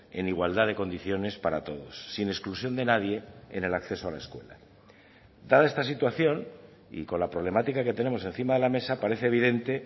en igualdad de condiciones para todos sin exclusión de nadie en el acceso a la escuela dada esta situación y con la problemática que tenemos encima de la mesa parece evidente